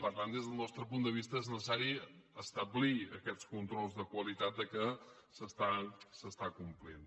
per tant des del nostre punt de vista és necessari establir aquests controls de qualitat que s’està complint